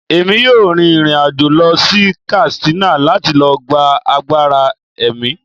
Emi yọọ rín irín-ajo lọ sí Katsina lati lo gba àgbará emí